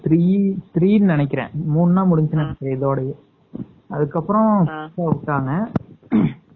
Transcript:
Three three னு நினைக்கிறன்.முனோட முடிஞ்சுச்சு இதோடது